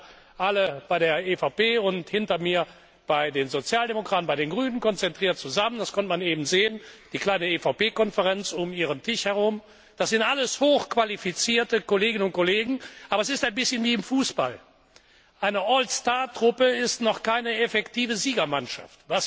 Die sitzen da alle bei der EVP und hinter mir bei den Sozialdemokraten, bei den Grünen konzentriert zusammen das konnte man eben sehen, die kleine EVP Konferenz um ihren Tisch herum das sind alles hochqualifizierte Kolleginnen und Kollegen, aber es ist ein bisschen wie im Fußball Eine Allstar Truppe ist noch keine effektive Siegermannschaft.